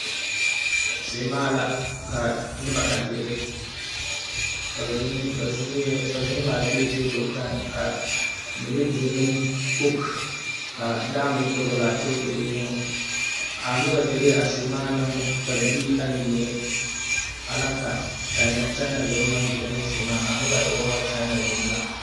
Seemaa la ka noba a dire ba zeŋ ŋmaa gyilee tabul kpoŋ ka mine dire ne kog ka daa meŋ dɔgli a tabul zuŋ a dire a seemaa ne dabilee mine ayi mine ana ka kyaena deme maŋ dire ne a noba e woo kyaena deme la.